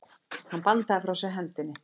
Hann bandaði frá sér hendinni.